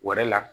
Wɛrɛ la